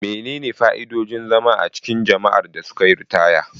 Menene fa'idodin zama a cikin jama'ar da suka yi ritaya?